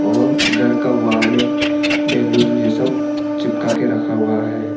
और घर का वाल में बैलून यह सब चिपका के रखा हुआ है।